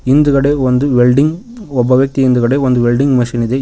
ಹಿಂದುಗಡೆ ಒಂದು ವೆಲ್ಡಿಂಗ್ ಒಬ್ಬ ವ್ಯಕ್ತಿ ಹಿಂದುಗಡೆ ಒಂದು ವೆಲ್ಡಿಂಗ್ ಮೆಷಿನ್ ಇದೆ ಹಿ--